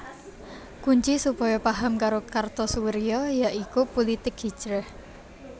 Kunci supaya paham karo Kartosoewirjo ya iku pulitik hijrah